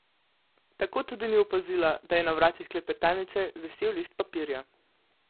Tako tudi ni opazila, da je na vratih klepetalnice visel list papirja.